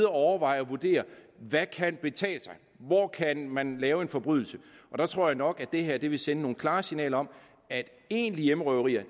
overveje og vurdere hvad kan betale sig hvor kan man lave en forbrydelse og der tror jeg nok at det her vil sende nogle klare signaler om at egentlige hjemmerøverier